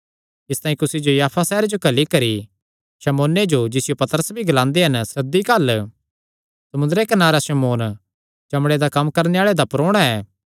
इसतांई कुसी जो याफा सैहरे च घल्ली करी शमौने जो जिसियो पतरस भी ग्लांदे हन सद्दी घल्ल समुंदरे कनारे शमौन चमड़े दा कम्म करणे आल़े दा परोणा ऐ